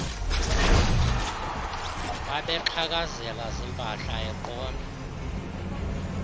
babexhakazela ziimpahla eqonda